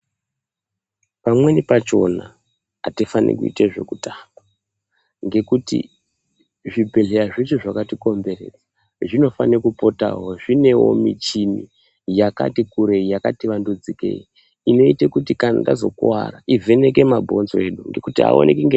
Pamweni pakona hatifani kuita ekutamba ngekuti zvibhedhlera zvese zvakatikomberedza zvinofana kupotawo zviine muchini yakati kurei yakati vandudzikei inoita kuti kana tazikuvara ivheneke mabhonzo edu nekuti haaonekwi nge.